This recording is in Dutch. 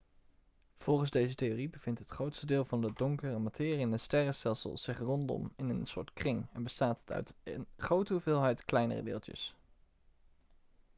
volgens deze theorie bevindt het grootste deel van de donkere materie in een sterrenstelsel zich rondom in een soort kring en bestaat het uit een grote hoeveelheid kleinere deeltjes